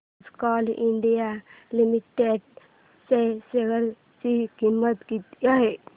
आज coal India limited च्या share ची किंमत किती आहे